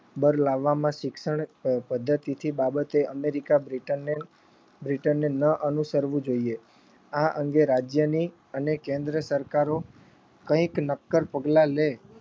બળ લાવવામાં શિક્ષણ પ પદ્ધતિથી બાબતે અમેરીકા બ્રિટનને બ્રિટનને ન અનુસરવું જોઈએ. આ અંગે રાજ્યની અને કેન્દ્ર સરકારો કંઈક નક્કર પગલાં લે